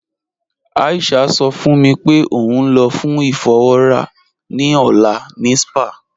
Aisha sọ fún mí pé ó n lọ fún ifọ̀wọra ni ọlá ni spa.